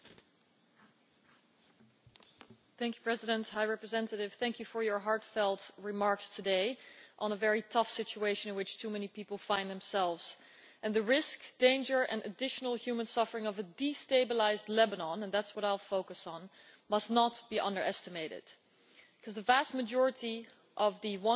Madam President, I would like to thank the High Representative for her heartfelt remarks today on a very tough situation in which too many people find themselves. The risk, danger and additional human suffering of a destabilised Lebanon and that is what I will focus on must not be underestimated, because the vast majority of the